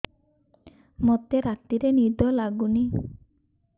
ମୋତେ ରାତିରେ ନିଦ ଲାଗୁନି